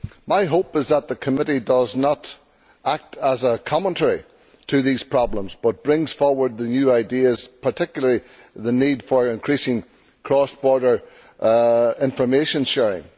My hope is that the committee does not act as a commentary to these problems but brings forward new ideas, particularly the need for increased cross border information sharing.